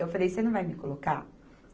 Eu falei, você não vai me colocar?